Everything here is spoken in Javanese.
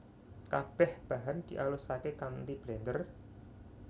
Kabeh bahan dialusake kanthi blender